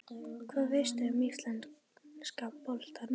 Hvað veistu um íslenska boltann?